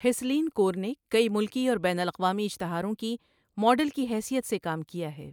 ہسلین کور نے کئی ملکی اور بین الاقوامی اشتہاروں کی ماڈل کی حیثئت سے کام کیا ہے۔